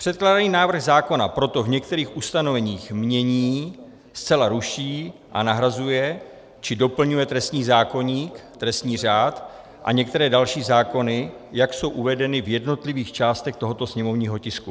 Předkládaný návrh zákona proto v některých ustanoveních mění, zcela ruší a nahrazuje či doplňuje trestní zákoník, trestní řád a některé další zákony, jak jsou uvedeny v jednotlivých částech tohoto sněmovního tisku.